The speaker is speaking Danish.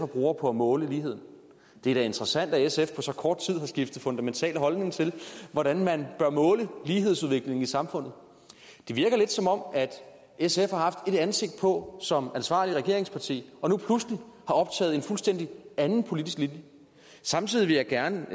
bruger på at måle lighed det er da interessant at sf på så kort tid fundamentalt holdning til hvordan man bør måle lighedsudviklingen i samfundet det virker lidt som om sf har haft ét ansigt på som ansvarligt regeringsparti og nu pludselig har optaget en fuldstændig anden politisk linje samtidig vil jeg gerne